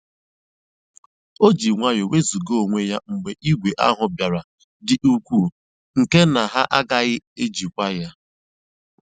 O jì nwayọ́ọ́ nwézugà onwé ya mgbe ìgwè ahụ́ bìàra dị́ ùkwuù nkè na ha àgàghị́ èjìkwa ya.